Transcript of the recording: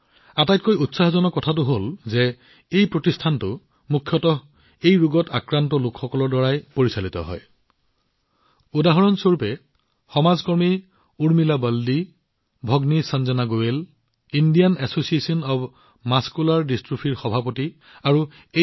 আটাইতকৈ উৎসাহজনক কথাটো হল যে এই সংগঠনটোৰ পৰিচালনা মুখ্যতঃ এই ৰোগত আক্ৰান্ত লোকসকলৰ দ্বাৰা কৰা হয় যেনে সমাজকৰ্মী Urmila বালদিজী Indian association of muscular ডিষ্ট্ৰোফিৰ অধ্যক্ষা চিষ্টাৰ সঞ্জনা গোৱেল জী আৰু এই সংগঠনৰ আন সদস্যসকলে